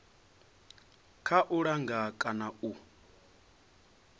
kha u langa kana u